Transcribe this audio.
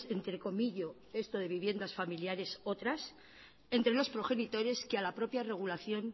entre comillo esto de viviendas familiares otras entre los progenitores que a la propia regulación